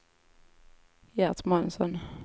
Gert Månsson